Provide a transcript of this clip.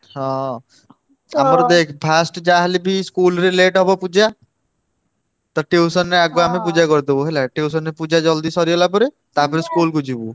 ହଁ ଆମର ଦେଖେ first ଯାହା ହେଲେ ବି school ରେ late ହବ ପୂଜା। ତ tuition ରେ ଆଗ ଆମେ ପୂଜା କରିଦବୁ ହେଲା tuition ରେ ପୂଜା ଜଲଦି ସରିଗଲା ପରେ ତାପରେ school କୁ ଯିବୁ।